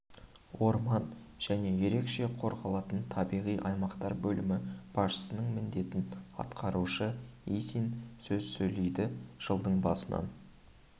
орман және ерекше қорғалатын табиғи аймақтар бөлімі басшысының міндетін атқарушы исин сөз сөйледі жылдың басынан